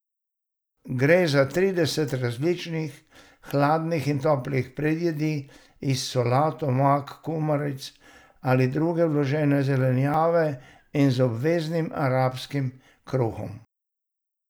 Gre za trideset različnih hladnih ali toplih predjedi iz solat, omak, kumaric ali druge vložene zelenjave in z obveznim arabskim kruhom.